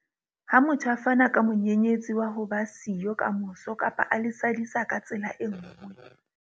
Ha motho a fana ka monyenyetsi wa ho ba siyo kamoso kapa a le sadisa ka tsela e nngwe.